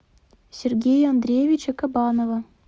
сергея андреевича кабанова